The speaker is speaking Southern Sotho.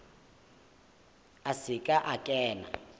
a se ke a kena